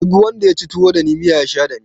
Duk wanda yaci tuwo dani miya ya sha dani